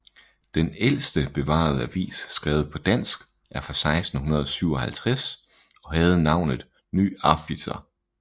Den ældste bevarede avis skrevet på dansk er fra 1657 og havde navnet Ny Affvjser